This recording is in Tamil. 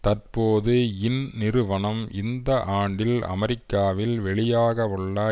தற்போது இந்நிறுவனம் இந்த ஆண்டில் அமெரிக்காவில் வெளியாகவுள்ள